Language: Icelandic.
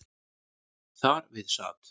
Þar við sat